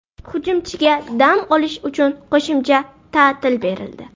Hujumchiga dam olish uchun qo‘shimcha ta’til berildi.